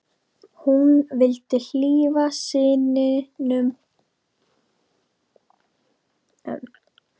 Hún vildi hlífa syninum við að hlusta á foreldrana rífast.